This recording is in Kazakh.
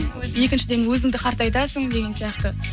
екіншіден өзіңді қартайтасың деген сияқты